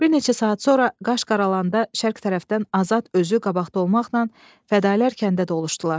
Bir neçə saat sonra qaş qaralanda şərq tərəfdən Azad özü qabaqda olmaqla fədalılar kəndə doluşdular.